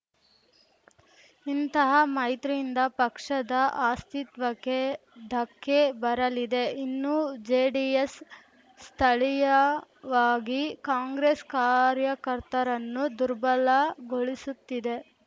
ಇಂತಹ ಮೈತ್ರಿಯಿಂದ ಪಕ್ಷದ ಅಸ್ತಿತ್ವಕ್ಕೆ ಧಕ್ಕೆ ಬರಲಿದೆ ಇನ್ನು ಜೆಡಿಎಸ್‌ ಸ್ಥಳೀಯವಾಗಿ ಕಾಂಗ್ರೆಸ್‌ ಕಾರ್ಯಕರ್ತರನ್ನು ದುರ್ಬಲಗೊಳಿಸುತ್ತಿದೆ